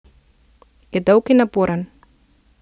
Je dolg in naporen.